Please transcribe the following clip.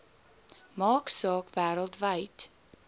maak saak wêreldwyd